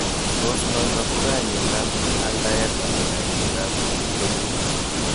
Tos natok ko kainet ap aldaet anan kainet nebo chobeet.